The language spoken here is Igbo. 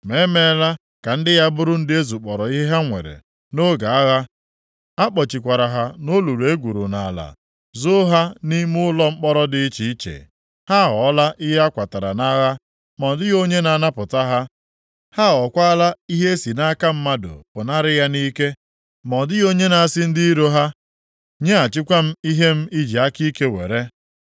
Ma e meela ka ndị ya bụrụ ndị e zukpọrọ ihe ha nwere nʼoge agha. A kpọchikwara ha nʼolulu e gwuru nʼala, zoo ha nʼime ụlọ mkpọrọ dị iche iche. Ha aghọọla ihe a kwatara nʼagha, ma ọ dịghị onye na-anapụta ha. Ha aghọkwaala ihe e si nʼaka mmadụ pụnara ya nʼike, ma ọ dịghị onye na-asị ndị iro ha, “Nyeghachikwa m ihe m i ji aka ike were.”